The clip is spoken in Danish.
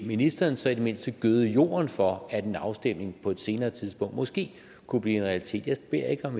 ministeren så i det mindste gøde jorden for at en afstemning på et senere tidspunkt måske kunne blive en realitet jeg beder ikke om